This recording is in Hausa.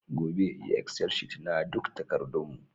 Gobe, yi excel sheet na duk takardun mu